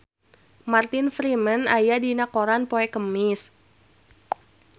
Martin Freeman aya dina koran poe Kemis